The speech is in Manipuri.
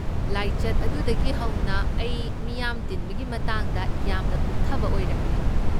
ꯂꯥꯏꯆꯠ ꯑꯗꯨꯗꯒꯤ ꯍꯧꯅ ꯑꯩ ꯃꯤꯌꯥꯝ ꯇꯤꯟꯕꯒꯤ ꯃꯇꯥꯡꯗ ꯌꯥꯝꯅ ꯀꯨꯞꯊꯕ ꯑꯣꯏꯔꯛꯂꯦ꯫